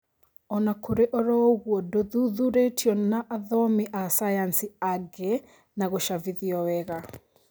Onakũrĩ oroũguo ndũthuthurĩtio na athomi a sayansi angĩ na gũcabithio wega